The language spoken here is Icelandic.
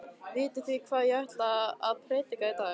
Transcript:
Vitið þið hvað ég ætla að prédika í dag?